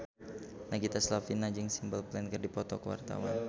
Nagita Slavina jeung Simple Plan keur dipoto ku wartawan